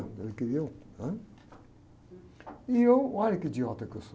Ele queria um... Né? E eu, olha que idiota que eu sou.